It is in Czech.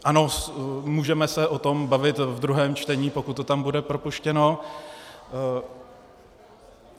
Ano, můžeme se o tom bavit ve druhém čtení, pokud to tam bude propuštěno.